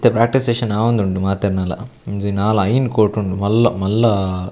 ಇತ್ತೆ practice session ಆವೊಂದುಂಡು ಮಾತೆರ್ನಲ ಒಂಜಿ ನಾಲ್ ಐನ್ ಕೋರ್ಟ್ ಉಂಡು ಮಲ್ಲ ಮಲ್ಲ --